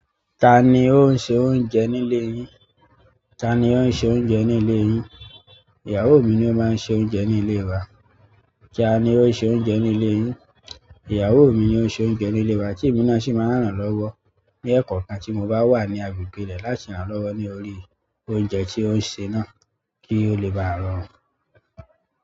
Ta ni ó ń se oúnjẹ nílé yín? Ta ni ó ń se oúnjẹ nílé yín? Ìyàwó mi ni ó máa ń se oúnjẹ ní ilé wa. Ta ni ó ń se oúnjẹ nílé yín? Ìyàwó mi ni ó ń se oúnjẹ nílé wa tí èmi náà sì máa ń ràn lọ́wọ́ ní ẹ̀kọ̀kan tí mo bá wà ní agbègbè rẹ̀ láti ràn lọ́wọ́ ní òri oúnjẹ tí ò ń se náà kí ó le bá ronú.